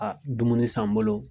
A dumuni san n bolo.